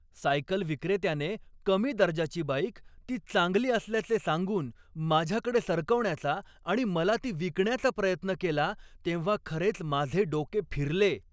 Cycle विक्रेत्याने कमी दर्जाची बाईक, ती चांगली असल्याचे सांगून माझ्याकडे सरकवण्याचा आणि मला ती विकण्याचा प्रयत्न केला तेव्हा खरेच माझे डोके फिरले.